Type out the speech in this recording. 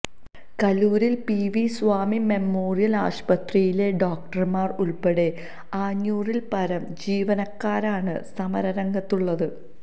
കലൂരിലെ P V Swami memorial ആശുപത്രിയിലെ ഡോക്ടർമാർ ഉൾപ്പെടെ അഞ്ഞൂറിൽപ്പരം ജീവനക്കാരാണ് സമരരംഗത്ത് ഉള്ളത്